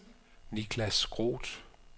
Niklas Groth